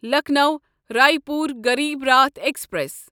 Lucknow Raipur Garib Rath express